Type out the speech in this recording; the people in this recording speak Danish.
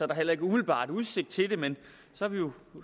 der heller ikke umiddelbart udsigt til det men